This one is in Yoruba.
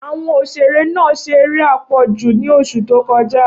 Awọn oṣere naa ṣe ere apọju ni oṣu to kọja